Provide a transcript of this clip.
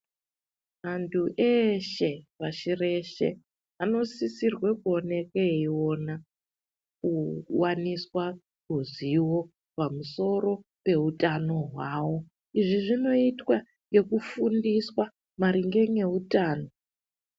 Antu eshe pashi reshe vanosisirwa kuona eiona kuwaniswa uzivo panusoro peutano hwawo izvi zvinoitwa ngekufundiswa maringe neutano.